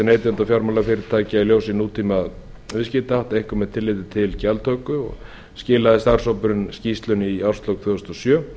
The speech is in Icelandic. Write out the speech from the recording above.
neytenda og fjármálafyrirtækja í ljósi nútímaviðskiptahátta einkum með tilliti til gjaldtöku starfshópurinn skilaði af sér skýrslunni í árslok tvö þúsund og sjö